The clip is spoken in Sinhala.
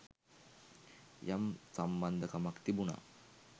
යම් සම්බන්ධකමක් තිබුණා.